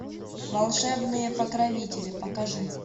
волшебные покровители покажи